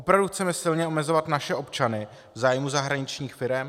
Opravdu chceme silně omezovat naše občany v zájmu zahraničních firem?